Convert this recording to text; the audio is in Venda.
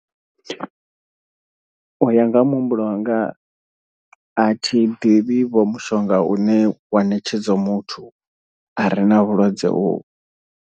U ya nga ha muhumbulo wanga, a thi ḓivhi vho mushonga une wa ṋetshedzwa muthu a re na vhulwadze uvhu.